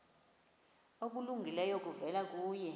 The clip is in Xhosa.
okulungileyo kuvela kuye